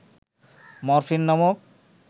morphine নামক